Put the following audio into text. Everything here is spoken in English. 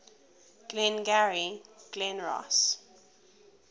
glengarry glen ross